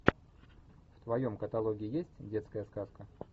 в твоем каталоге есть детская сказка